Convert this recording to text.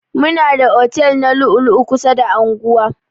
Muna da otel na lu'u lu'u kusa da anguwa.